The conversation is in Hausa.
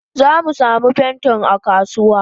Zamu samu pentin akasuwa.